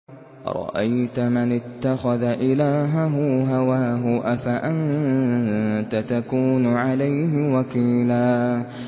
أَرَأَيْتَ مَنِ اتَّخَذَ إِلَٰهَهُ هَوَاهُ أَفَأَنتَ تَكُونُ عَلَيْهِ وَكِيلًا